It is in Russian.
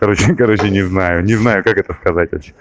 короче короче не знаю не знаю как это сказать вообще